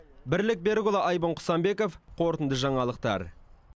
бірлік берікұлы айбын құсанбеков қорытынды жаңалықтар